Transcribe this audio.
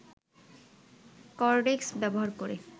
cortex ব্যবহার করে